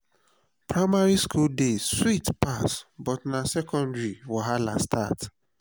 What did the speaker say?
primary school days sweet pass but na secondary school wahala start.